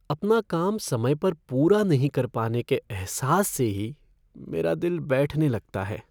अपना काम समय पर पूरा नहीं कर पाने के अहसास से ही मेरा दिल बैठने लगता है।